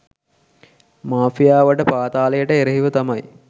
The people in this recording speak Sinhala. මාෆියාවට පාතාලයට එරෙහිව තමයි